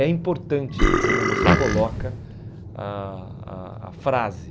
É importante como você coloca a a a frase.